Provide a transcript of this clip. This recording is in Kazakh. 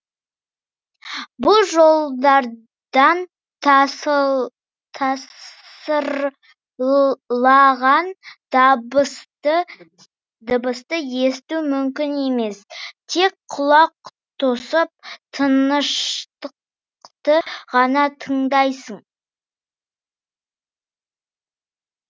бұл жолдардан тасырлаған дыбысты есту мүмкін емес тек құлақ тосып тыныштықты ғана тыңдайсың